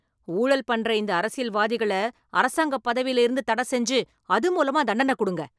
ஊழல் பண்ற இந்த அரசியல்வாதிகள அரசாங்கப் பதவியில இருந்து தடசெஞ்சு அது மூலமா தண்டன குடுங்க.